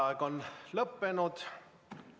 Vaheaeg on lõppenud.